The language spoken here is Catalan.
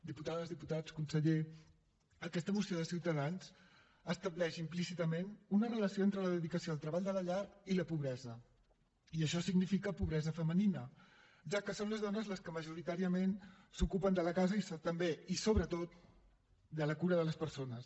diputades diputats conseller aquesta moció de ciutadans estableix implícitament una relació entre la dedicació al treball de la llar i la pobresa i això significa pobresa femenina ja que són les dones les que majoritàriament s’ocupen de la casa i també i sobretot de la cura de les persones